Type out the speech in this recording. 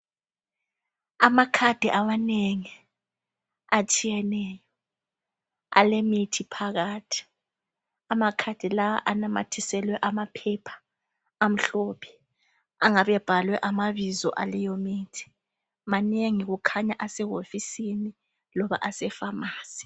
Amakhadi amanengi atshiyeneyo alemithi phakathi amakhadi lawa anamathiselwe amaphepha amhlophe angabe ebhalwe amabizo aleyimithi. Manengi kukhanya asehofisini loba asefamasi.